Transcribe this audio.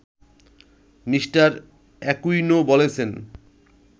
Me. Aquino বলেছেন